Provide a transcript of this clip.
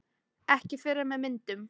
Ekki fyrr en með myndum